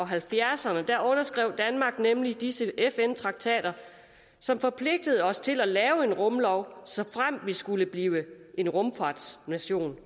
halvfjerdserne underskrev danmark nemlig disse fn traktater som forpligtede os til at lave en rumlov såfremt vi skulle blive en rumfartsnation